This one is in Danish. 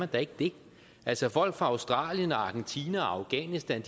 da ikke det altså folk fra australien argentina og afghanistan